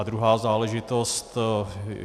A druhá záležitost.